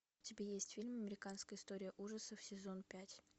у тебя есть фильм американская история ужасов сезон пять